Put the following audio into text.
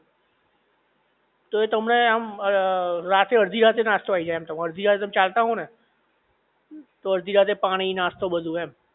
તોય તમને આમ રાતે અડધી રાતે નાસ્તો આઈ જાઇ એમ તમે અડધી રાતે ચાલતા હો ને તો અડધી રાતે પાણી નાસ્તો બધુ એમ